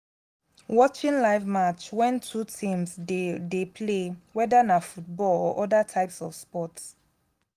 watching live match wen two teams dey dey play weda na football or other types of sports